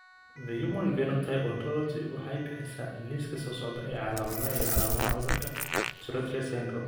The Human Phenotype Ontology waxay bixisaa liiska soo socda ee calaamadaha iyo calaamadaha cudurka Tourette syndrome.